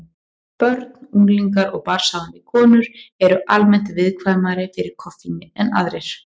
Börn, unglingar og barnshafandi konur eru almennt viðkvæmari fyrir koffíni en aðrir.